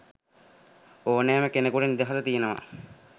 ඕනෙම කෙනෙකුට නිදහස තියනව.